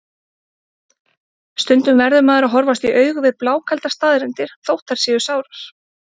Stundum verður maður að horfast í augu við blákaldar staðreyndir, þótt þær séu sárar.